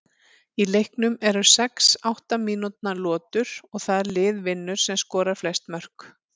Í leiknum eru sex átta mínútna lotur og það lið vinnur sem skorar flest mörk.